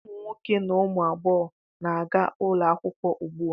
Ụmụ nwoke na ụmụ agbọghọ na-aga ụlọakwụkwọ ugbua.